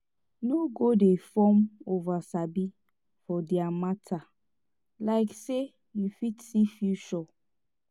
no go dey form oversabi for dia mata like say yu fit see future